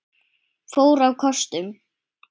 fór á kostum.